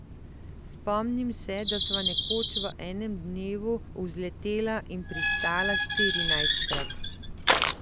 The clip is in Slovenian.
Spomnim se, da sva nekoč v enem dnevu vzletela in pristala štirinajstkrat.